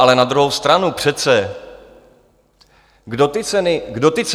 Ale na druhou stranu přece - kdo ty ceny zvyšuje?